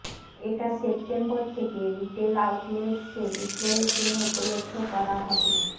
এটা সেপ্টেম্বর থেকে retail outlets এ বিক্রয়ের জন্য উপলব্ধ করা হবে